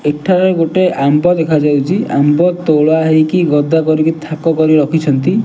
ଏଠାରେ ଗୁଟେ ଆମ୍ବ ଦେଖା ଯାଉଚି ଆମ୍ବ ତୋଳା ହେଇକି ଗଦା କରିକି ଥାକ କରିକି ରଖିଛନ୍ତି।